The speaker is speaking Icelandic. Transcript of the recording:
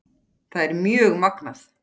Það er mjög magnað.